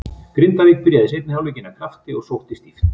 Grindavík byrjaði seinni hálfleikinn af krafti og sóttu stíft.